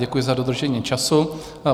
Děkuji za dodržení času.